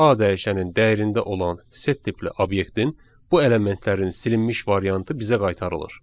A dəyişənin dəyərində olan set tipli obyektin bu elementlərin silinmiş variantı bizə qaytarılır.